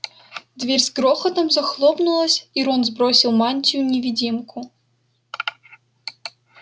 дверь с грохотом захлопнулась и рон сбросил мантию-невидимку